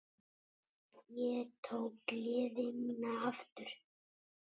Ég tók gleði mína aftur.